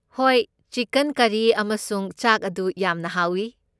ꯍꯣꯏ, chicken curry ꯑꯃꯁꯨꯡ ꯆꯥꯛ ꯑꯗꯨ ꯌꯥꯝꯅ ꯍꯥꯎꯏ꯫